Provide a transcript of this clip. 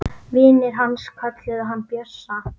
Vinir hans kölluðu hann Bjössa.